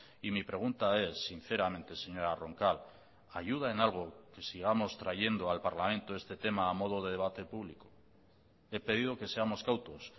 y mi pregunta es sinceramente señora roncal ayuda en algo que sigamos trayendo al parlamento este tema a modo de debate público he pedido que seamos cautos